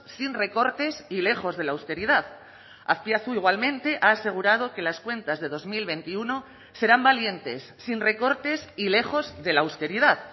sin recortes y lejos de la austeridad azpiazu igualmente ha asegurado que las cuentas de dos mil veintiuno serán valientes sin recortes y lejos de la austeridad